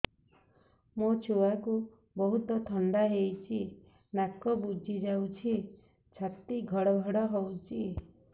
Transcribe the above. ମୋ ଛୁଆକୁ ବହୁତ ଥଣ୍ଡା ହେଇଚି ନାକ ବୁଜି ଯାଉଛି ଛାତି ଘଡ ଘଡ ହଉଚି